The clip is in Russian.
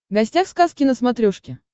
гостях сказки на смотрешке